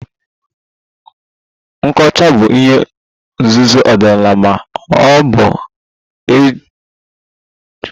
Nkechu bụ ihe nzuzo ọdịnala ma ọ bụ chọọ egwuregwu a na-egwuri egwu n'abalị